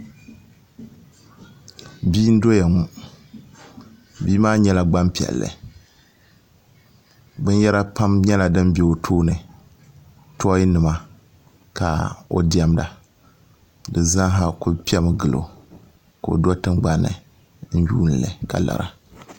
bia n doya ŋo bia maa nyɛla gbanpiɛlli binyɛra pam nyɛla din bɛ o tooni tooi nima ka o diɛmda di zaaha ku piɛmi gilo ka o do tingbanni n yuundili ka lara